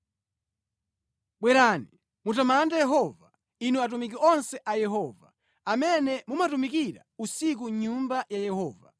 Bwerani, mutamande Yehova, inu atumiki onse a Yehova, amene mumatumikira usiku mʼnyumba ya Yehova.